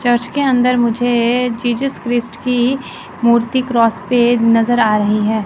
Church के अंदर मुझे जीसस क्राइस्ट की मूर्ति क्रॉस पे नजर आ रही है।